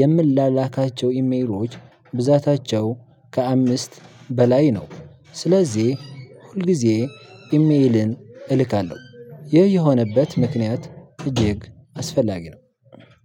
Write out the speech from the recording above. የምላላካቸው ኢሜሮች ብዛታቸው ከአምስት በላይ ነው። ስለዚህ ሁልጊዜ ኢሜልን እልካለሁ ይህ የሆነበት ምክንያት እጅግ አስፈላጊ ነው።